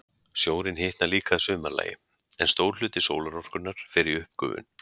Sjórinn hitnar líka að sumarlagi, en stór hluti sólarorkunnar fer í uppgufun.